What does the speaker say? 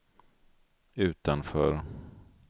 utanför